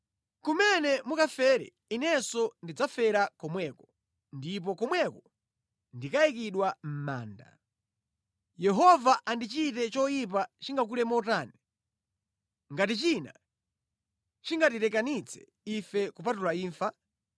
Kumene mukafere inenso ndidzafera komweko ndipo komweko ndikayikidwa mʼmanda. Yehova andichite choyipa chingakule motani, ngati china chingatirekanitse ife kupatula imfa.”